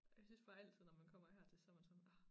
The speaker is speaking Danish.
Og jeg synes bare altid når man kommer her til så man sådan ah